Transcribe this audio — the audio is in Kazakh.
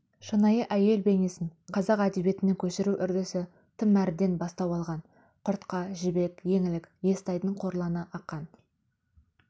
шынайы әйел бейнесін қазақ әдебиетіне көшіру үрдісітым әріден бастау алған құртқа жібек еңлік естайдың қорланы ақан